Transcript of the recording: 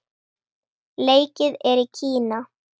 Leikið er í Kína.